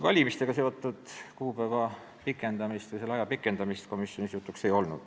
Valimistega seotud kuupäeva pikendamine, selle aja pikendamine komisjonis jutuks ei olnud.